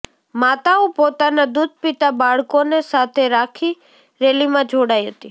માતાઓ પોતાના દૂધ પીતા બાળકોને સાથે રાખી રેલીમાં જોડાઇ હતી